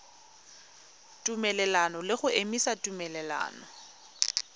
tumelelano le go emisa tumelelano